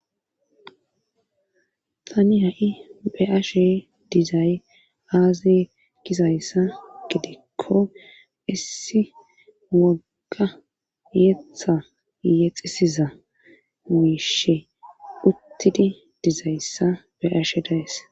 Tani ha'i beashe dizay aazi kisayssa gidikko issi wogga yetha yexisiza miishe uttidi dizayssa beashe dayes.